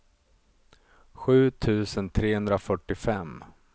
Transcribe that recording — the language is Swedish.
sju tusen trehundrafyrtiofem